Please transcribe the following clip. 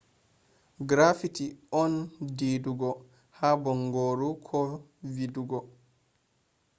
graffiti on didugo ha baangoru ko vidugo